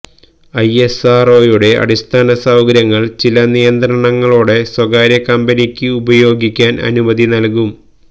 ഐഎസ്ആര്ഒയുടെ അടിസ്ഥാന സൌകര്യങ്ങള് ചില നിയന്ത്രണങ്ങളോടെ സ്വകാര്യ കമ്പനികള്ക്ക് ഉപയോഗിക്കാന് അനുമതി നല്കും